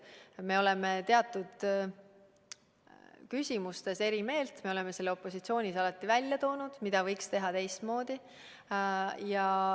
Samas me oleme teatud küsimustes eri meelt ja me oleme opositsioonis alati välja toonud, mida võiks teha teistmoodi.